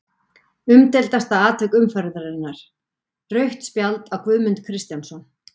Umdeildasta atvik umferðarinnar: Rautt spjald á Guðmund Kristjánsson?